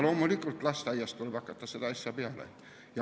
Loomulikult tuleb juba lasteaiast hakata selle asjaga peale.